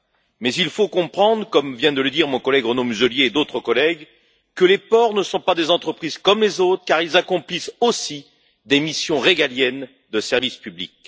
Or, il faut comprendre, comme viennent de le dire mon collègue Renaud Muselier et d'autres collègues, que les ports ne sont pas des entreprises comme les autres, car ils accomplissent aussi des missions régaliennes de service public.